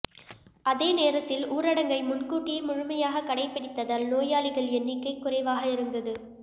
அதே நேரத்தில் ஊரடங்கை முன்கூட்டியே முழுமையாகக் கடைப்பிடித்ததால் நோயாளிகள் எண்ணிக்கை குறைவாக இருந்தது